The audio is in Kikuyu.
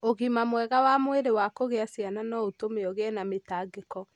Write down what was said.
Ũgima mwega wa mwĩrĩ wa kũgĩa ciana no ũtũme ũgĩe na mĩtangĩko.